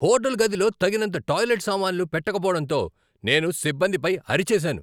Hotel గదిలో తగినంత toilet సామాన్లు పెట్టకపోవడంతో నేను సిబ్బందిపై అరిచేసాను.